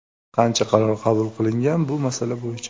Qancha qaror qabul qilingan bu masala bo‘yicha?